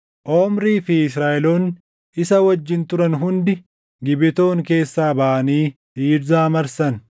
Omrii fi Israaʼeloonni isa wajjin turan hundi Gibetoon keessaa baʼanii Tiirzaa marsan.